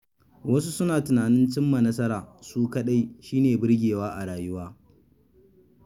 Wasu suna tunanin cin ma nasara su kaɗai shi ne birgewa a rayuwa.